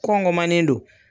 Kɔngɔmanen don.